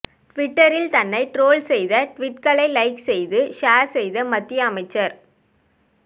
ட்விட்டரில் தன்னை ட்ரோல் செய்த ட்வீட்களை லைக் செய்து ஷேர் செய்த மத்திய அமைச்சர்